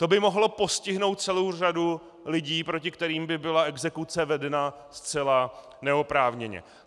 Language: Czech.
To by mohlo postihnout celou řadu lidí, proti kterým by byla exekuce vedena zcela neoprávněně.